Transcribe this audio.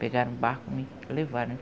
Pegaram o barco e me levaram.